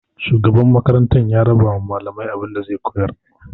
Shugaban makarantar ya rabawa malaman abinda zai koyar.